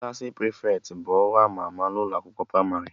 Klassị prịfeti bu ọrụ ama ama n'ụlọ akwụkwọ pramarị